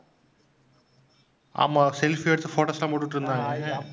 ஆமாம் selfie எடுத்து photos எல்லாம் போட்டுட்டிருந்தாங்க.